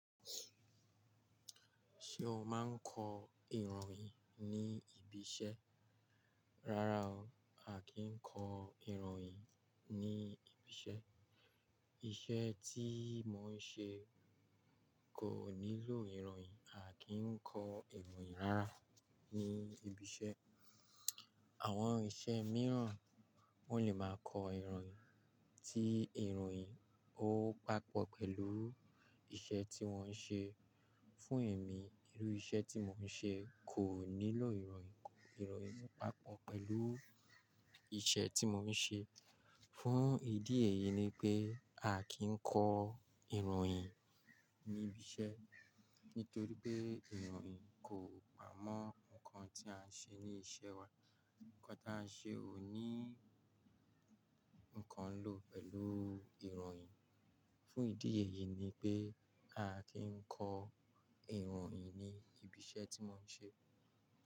Ṣé o máa ń kọ ìròyìn ní ibi iṣẹ́? Rárá o, a kì í kọ ìròyìn ní ibi iṣẹ́. Iṣẹ́ tí mo ń ṣe kò nílò ìròyìn, a kì í kọ ìròyìn rárá ní ibi iṣẹ́. Àwọn iṣẹ́ mìíràn wọn lè máa kọ ìròyìn tí ìròyìn ó pàpọ̀ pẹ̀lú iṣẹ́ tí wọ́n ń ṣe. Fún èmi, irú iṣẹ́ tí mò ń ṣe kò nílò ìròyìn, ìròyìn pàpọ̀ pẹ̀lú iṣẹ́ tí mò ń ṣe. Fún ìdí èyí ni pé a kì í kọ ìròyìn ní ibi iṣẹ́, nítorí pé ìròyìn kò pa mọ́ nǹkan tí à ń ṣe ní iṣẹ́ wa. Ǹkan tí à ń ṣe ò ní ǹkan lò pẹ̀lú ìròyìn. Fún ìdí èyí ni pé a kì í kọ ìròyìn ní ibi iṣẹ́ tí mò ń ṣe.